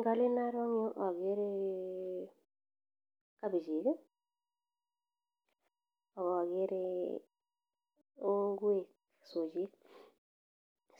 Ngalen aro en yu akere kabechek aka akerre ngwek sojek ,